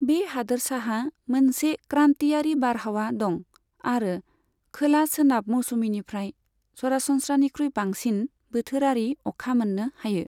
बे हादोरसाहा मोनसे क्रान्टियारि बारहावा दं आरो खोला सोनाब मौसुमिनिफ्राय सरासनस्रानिख्रुय बांसिन बोथोरारि अखा मोन्नो हायो।